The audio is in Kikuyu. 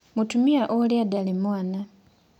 Mũtumia ũrĩa ndarĩ mwana.